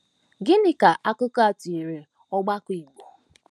Gịnị ka akụkọ a tụnyere ọgbakọ Igbo?